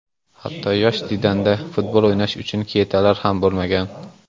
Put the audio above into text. Hatto yosh Zidanda futbol o‘ynash uchun ketalar ham bo‘lmagan.